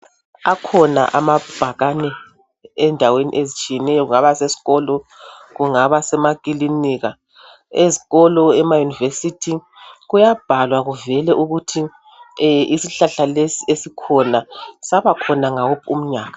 Akhona amabhakane endaweni ezitshiyeneyo kungaba seskolo kungaba semaklinika ezikolo ema univesithi kuyabhalwa kuvele ukuthi isihlahla lesi esikhona sabakhona ngawuphi umnyaka